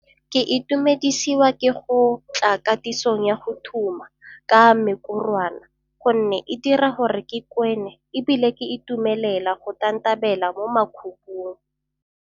Ke itumedisiwa ke go tla katisong ya go thuma ka mekorwana gonne e dira gore ke kwene ebile ke itumelela go tantabela mo makhubung.